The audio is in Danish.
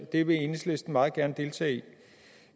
det vil enhedslisten meget gerne deltage i